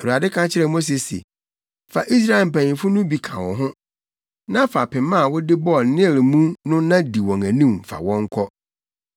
Awurade ka kyerɛɛ Mose se, “Fa Israelfo mpanyimfo no bi ka wo ho na fa pema a wode bɔɔ Nil mu no na di wɔn anim fa wɔn kɔ.